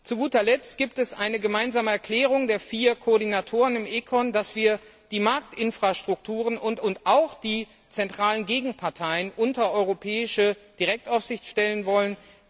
Zu guter Letzt gibt es eine gemeinsame Erklärung der vier Koordinatoren im Ausschuss für Wirtschaft und Währung, dass wir die Marktinfrastrukturen und auch die zentralen Gegenparteien unter europäische Direktaufsicht stellen wollen.